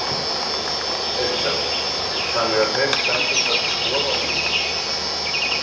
Elísabet: Þannig að þeim stendur það til boða núna?